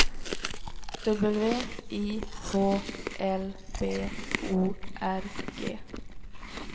W I H L B O R G